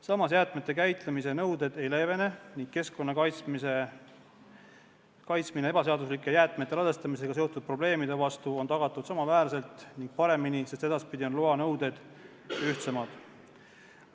Samas, jäätmete käitlemise nõuded ei leevene ning keskkonna kaitsmine ebaseaduslike jäätmete ladestamisega seotud probleemide eest on tagatud samaväärselt ning isegi paremini, sest edaspidi on loa nõuded ühtsemad.